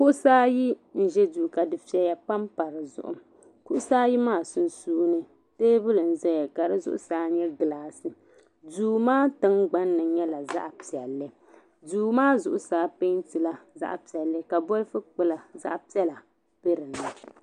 Kuɣisi ayi n ʒi duu ka di feya pam pa di zuɣu kuɣi di ayi maa sunsuuni teebuli nʒaya ka di zuɣu saa nyɛ glass duumaa tiŋgbani zaɣi piɛli duu maa zuɣusaa pɛɛntila zaɣi piɛli ka bolipu pɛla be dini